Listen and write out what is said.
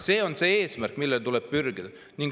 See on eesmärk, mille poole tuleb pürgida.